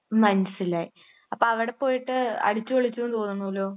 മമ് മനസ്സിലായി. അപ്പോ അവിടെ പോയിട്ട് അടിച്ച് പൊളിച്ചു എന്ന് തോന്നുന്നല്ലോ.